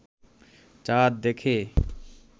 চাঁদ দেখে